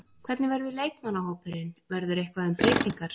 Hvernig verður leikmannahópurinn, verður eitthvað um breytingar?